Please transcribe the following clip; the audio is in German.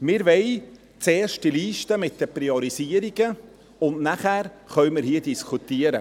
Wir wollen zuerst eine Liste mit den Priorisierungen, und nachher können wir hier diskutieren.